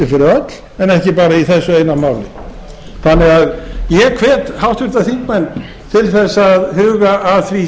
öll en ekki bara í þessu eina máli þannig að ég hvet háttvirtir þingmenn til að huga að því sem hér